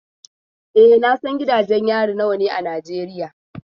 E, na san gidajen yari nawa ne a Najeriya.